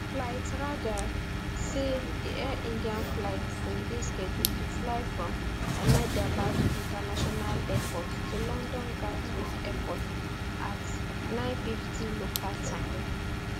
flight radar say di air india flight bin dey scheduled to fly from ahmedabad international airport to london gatwick airport at 0950 local time